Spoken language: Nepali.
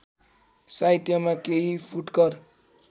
साहित्यमा केही फुटकर